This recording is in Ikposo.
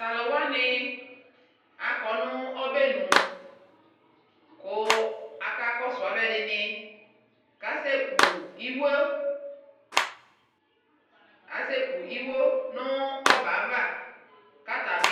Taluwanii akɔ nu obɛɛnu ku akakɔsu aluɛdini kasɛku iwuo aseku iwuo nuu obɛava katabi